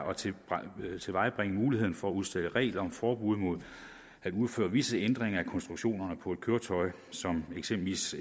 at tilvejebringe muligheden for at udstede regler om forbud mod at udføre visse ændringer af konstruktionerne på et køretøj som eksempelvis